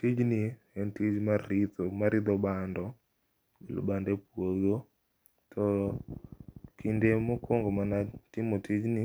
tijni en tich mar ritho mar ritho bando bando e puodho to kinde mokuongo mane atimo tijni,